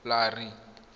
larry